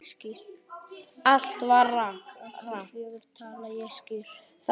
KAFLI FJÖGUR Tala ég skýrt?